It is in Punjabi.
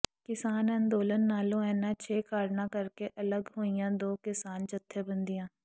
ਕਿਸਾਨ ਅੰਦੋਲਨ ਨਾਲੋਂ ਇਨ੍ਹਾਂ ਛੇ ਕਾਰਨਾਂ ਕਰਕੇ ਅਲੱਗ ਹੋਈਆਂ ਦੋ ਕਿਸਾਨ ਜਥੇਬੰਦੀਆਂ